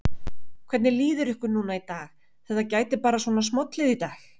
Hvernig líður ykkur núna í dag, þetta gæti bara svona smollið í dag?